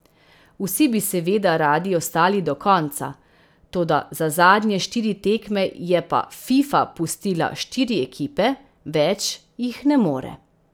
Vsi bi seveda radi ostali do konca, toda za zadnje štiri tekme je pa Fifa pustila štiri ekipe, več jih ne more.